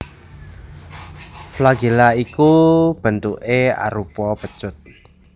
Flagela iku bentuké arupa pecut